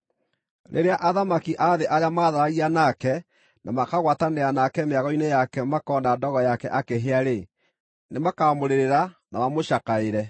“Rĩrĩa athamaki a thĩ arĩa maatharagia nake na makagwatanĩra nake mĩago-inĩ yake makoona ndogo yake akĩhĩa-rĩ, nĩmakamũrĩrĩra na mamũcakaĩre.